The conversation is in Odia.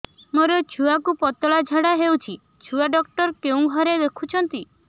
ମୋର ଛୁଆକୁ ପତଳା ଝାଡ଼ା ହେଉଛି ଛୁଆ ଡକ୍ଟର କେଉଁ ଘରେ ଦେଖୁଛନ୍ତି